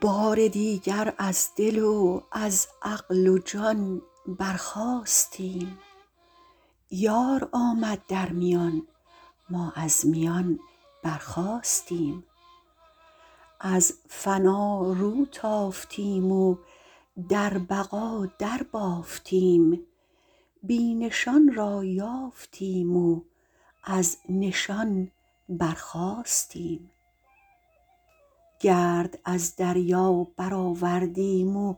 بار دیگر از دل و از عقل و جان برخاستیم یار آمد در میان ما از میان برخاستیم از فنا رو تافتیم و در بقا دربافتیم بی نشان را یافتیم و از نشان برخاستیم گرد از دریا برآوردیم و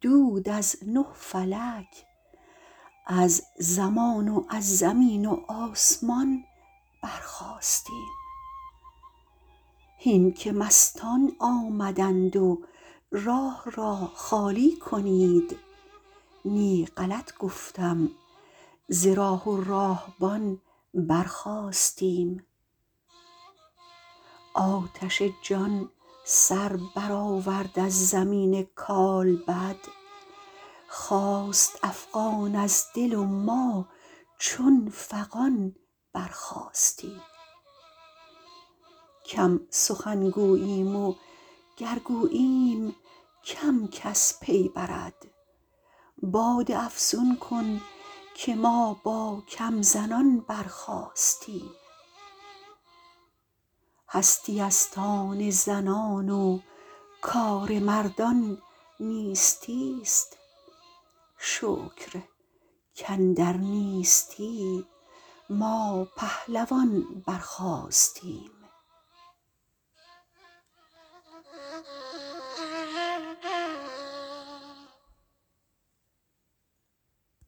دود از نه فلک از زمان و از زمین و آسمان برخاستیم هین که مستان آمدند و راه را خالی کنید نی غلط گفتم ز راه و راهبان برخاستیم آتش جان سر برآورد از زمین کالبد خاست افغان از دل و ما چون فغان برخاستیم کم سخن گوییم وگر گوییم کم کس پی برد باده افزون کن که ما با کم زنان برخاستیم هستی است آن زنان و کار مردان نیستی است شکر کاندر نیستی ما پهلوان برخاستیم